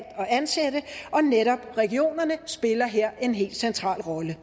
at ansætte og netop regionerne spiller her en helt central rolle